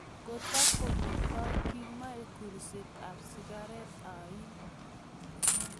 Kotakometoi Kimoi kulset ap sigaret ain.